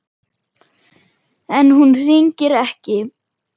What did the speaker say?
En hún hringir ekki.